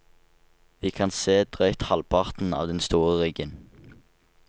Vi kan se drøyt halvparten av den store ryggen.